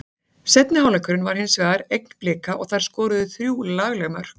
Seinni hálfleikurinn var hinsvegar eign Blika og þær skoruðu þrjú lagleg mörk.